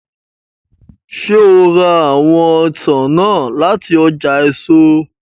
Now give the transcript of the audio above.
Ṣe o ra awọn ọsan naa lati ọja eso?